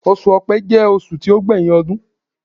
Osù Ọ̀pẹ jẹ́ oṣù tí ó gbé yín ọdún.